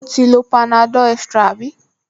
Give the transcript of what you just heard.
O ti lo panadol extra àbí?